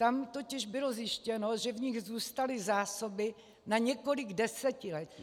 Tam totiž bylo zjištěno, že v nich zůstaly zásoby na několik desetiletí.